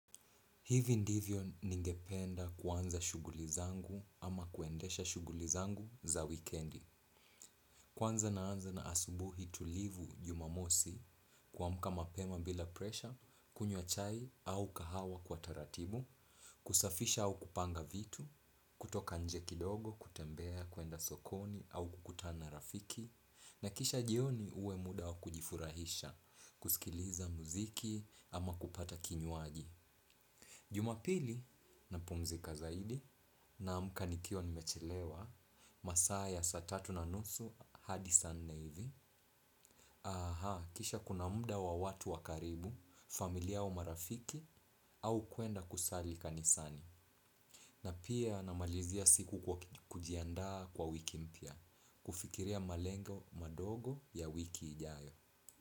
Hivi ndivyo ningependa kwanza shughuli zangu ama kuendesha shughuli zangu za wikendi. Kwanza na anza na asubuhi tulivu jumamosi kuamka mapema bila presha, kunywa chai au kahawa kwa taratibu, kusafisha au kupanga vitu, kutoka nje kidogo, kutembea, kuenda sokoni au kukutana rafiki, na kisha jioni uwe muda wa kujifurahisha, kusikiliza muziki ama kupata kinywaji. Jumapili na pumzika zaidi naamka nikiwa nimechelewa masaa ya saa tatu na nusu hadi saa nne hivi. Aha kisha kuna muda wa watu wa karibu, familia wa marafiki au kuenda kusali kanisani. Na pia namalizia siku kujiandaa kwa wiki mpya, kufikiria malengo madogo ya wiki ijayo.